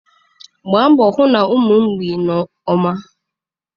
Gbaa mbọ hụ na ụmụ mgbei nọ mma.